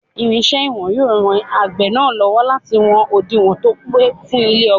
Irinṣẹ́ ìwọ̀n yóò ran àgbẹ̀ náà lọ́wọ́ láti wọn òdiwọ̀n tó pé fún ilẹ̀ ọgbà.